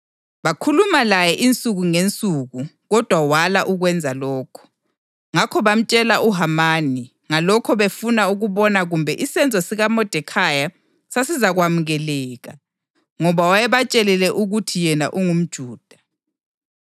Bakhuluma laye insuku ngezinsuku kodwa wala ukwenza lokho. Ngakho bamtshela uHamani ngalokho befuna ukubona kumbe isenzo sikaModekhayi sasizakwamukeleka, ngoba wayebatshelile ukuthi yena ungumJuda.